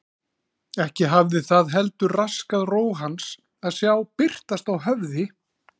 Ekki hafði það heldur raskað ró hans að sjá birtast á höfði